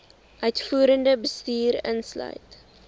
uitvoerende bestuur insluit